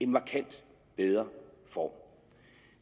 markant bedre form